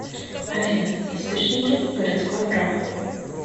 афина источники городское право